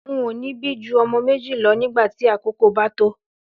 N ò ní bí ju o̩mo̩ méjì lo̩ nígbà tí àkókò bá tó